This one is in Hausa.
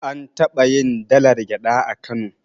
An taɓayin dalar gyaɗa a kano